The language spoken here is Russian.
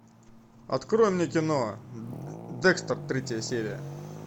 открой мне кино декстер третья серия